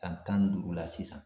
San tan ni duuru la sisan